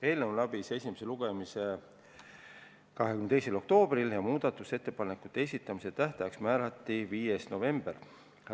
Eelnõu läbis esimese lugemise 22. oktoobril ja muudatusettepanekute esitamise tähtajaks määrati 5. november.